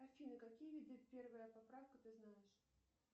афина какие виды первая поправка ты знаешь